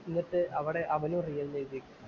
എന്നിട്ട് അവിടെ അവനും എന്നെഴുതി വയ്ക്കും,